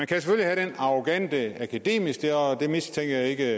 kan have den arrogante akademiske og det mistænker jeg ikke